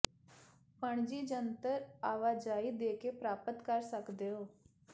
ਪਣਜੀ ਜਨਤਕ ਆਵਾਜਾਈ ਦੇ ਕੇ ਪ੍ਰਾਪਤ ਕਰ ਸਕਦੇ ਹੋ